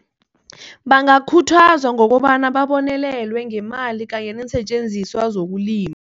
Bangakhuthazwa ngokobana babonelelwe ngemali kanye neensetjenziswa zokulima.